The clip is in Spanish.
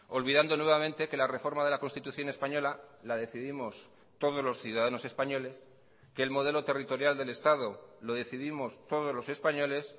olvidando nuevamente que la reforma de la constitución española la decidimos todos los ciudadanos españoles que el modelo territorial del estado lo decidimos todos los españoles